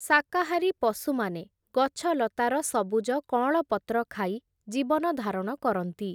ଶାକାହାରୀ ପଶୁମାନେ, ଗଛଲତାର ସବୁଜ କଅଁଳ ପତ୍ର ଖାଇ, ଜୀବନ ଧାରଣ କରନ୍ତି ।